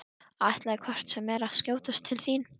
Ætlaði hvort sem er að skjótast til þín.